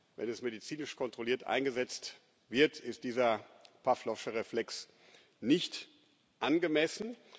Wenn es medizinisch kontrolliert eingesetzt wird, ist dieser Pawlowsche Reflex nicht angemessen.